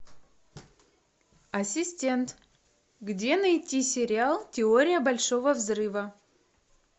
ассистент где найти сериал теория большого взрыва